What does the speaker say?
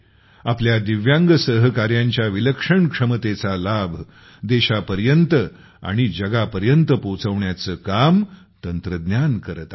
आपल्या दिव्यांग सहकाऱ्यांच्या विलक्षण क्षमतेचा लाभ देशापर्यंत आणि जगापर्यंत पोहोचवण्याचे काम तंत्रज्ञान करते आहे